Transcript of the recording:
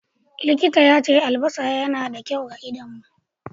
Likintan ya ce albassa yana da kyau ma Idanu.